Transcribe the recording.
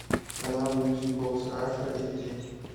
канал мьюзик бокс раша эйч ди